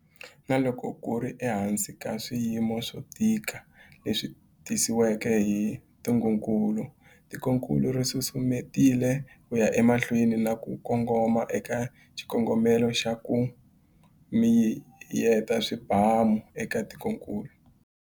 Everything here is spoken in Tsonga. Na loko ku ri ehansi ka swiyimo swo tika leswi tisiweke hi ntungukulu, tikokulu ri susumetile ku ya emahlweni na ku kongoma eka xikongomelo xa 'ku miyeta swibamu' eka tikokulu.